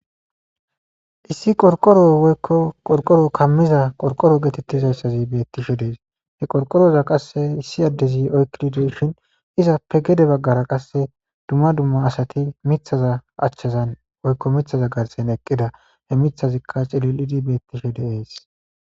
issi qorqoro woykko qorqoro kammiza qorqoro geetettizayssazi bettishe dees he qorqoroza qasse issi addezi oykidideshin iza pegede baggara qasse dumma dumma asati mithaza achchazan woykko mithaza garsen eqqida he mithazikka celilidi beettishe deees